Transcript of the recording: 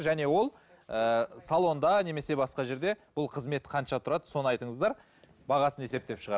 және ол ыыы салонда немесе басқа жерде бұл қызмет қанша тұрады соны айтыңыздар бағасын есептеп